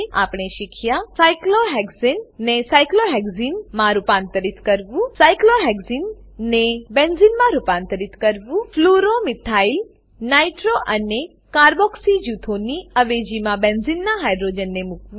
આપણે શીખ્યા cyclohexane cyclohexene ને સાયક્લોહેક્સને સાયક્લોહેક્ઝીન માં રૂપાંતરિત કરવું સાયક્લોહેક્સને સાયક્લોહેક્ઝીન ને બેન્ઝેને બેન્ઝીન માં રૂપાંતરિત કરવું fluoro fluoro methyl methyl nitro nitro અને કાર્બોક્સી કાર્બોક્સી જૂથોની અવેજીમાં બેન્ઝીનનાં હાઇડ્રોજનને મુકવું